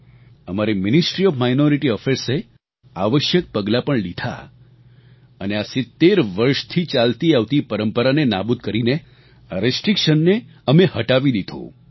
અમારી ministry of minority affairs એ આવશ્યક પગલાં પણ લીધાં અને આ 70 વર્ષથી ચાલતી આવતી પરંપરાને નાબૂદ કરીને આ રિસ્ટ્રિક્શન ને અમે હટાવી દીધું